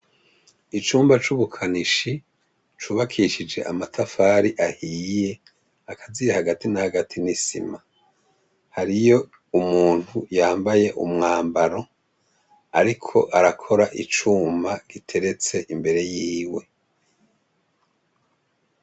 Icumba c'ubukanishi cubakishije amatafari ahiye, akaziye hagati na hagati n'isima. Hariyo umuntu yambaye umwambaro, ariko arakora icuma giteretse imbere yiwe.